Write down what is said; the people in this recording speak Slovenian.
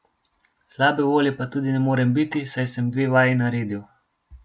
Slabe volje pa tudi ne morem biti, saj sem dve vaji naredil ...